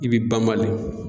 I bi banbalen.